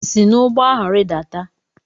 Si n'ụgbọ ahụ rịdata!